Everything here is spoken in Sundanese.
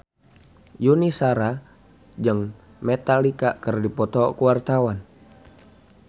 Yuni Shara jeung Metallica keur dipoto ku wartawan